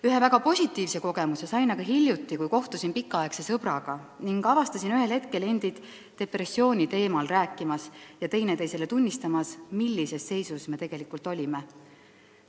Ühe väga positiivse kogemuse sain aga hiljuti, kui kohtusin pikaaegse sõbraga ning avastasime ühel hetkel endid depressiooni teemal rääkimas ja teineteisele tunnistamas, millises seisus me tegelikult olime.